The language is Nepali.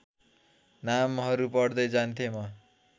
नामहरू पढ्दै जान्थेँ म